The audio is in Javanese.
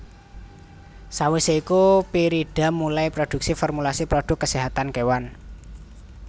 Sawisé iku Pyridam mulai produksi formulasi produk keséhatan kewan